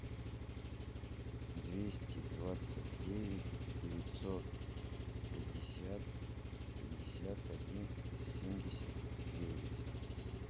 двести двадцать девять девятьсот пятьдесят пятьдесят один семьдесят девять